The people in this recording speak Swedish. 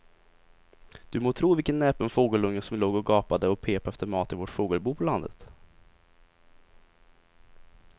Du må tro vilken näpen fågelunge som låg och gapade och pep efter mat i vårt fågelbo på landet.